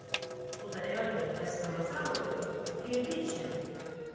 Xudayar bəy dəstəmazı alıb, girdi içəri.